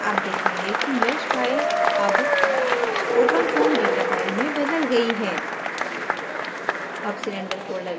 terminal पर आप देखेंगे कि mesh फाइल अब openfoam data फाइल में बदल गई है